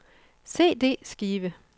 CD-skive